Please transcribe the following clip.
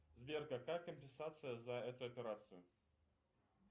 сбер какая компенсация за эту операцию